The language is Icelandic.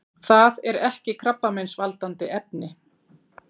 Það er ekki krabbameinsvaldandi efni.